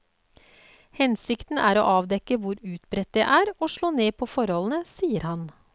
Hensikten er å avdekke hvor utbredt det er og slå ned på forholdene, sier han.